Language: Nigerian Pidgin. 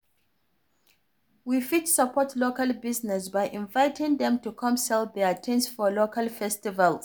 We fit support local business by inviting dem to come sell their things for local festivals